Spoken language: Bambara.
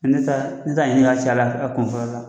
Ne t'a ne t'a ɲinin k'a ca la a kun fɔlɔ la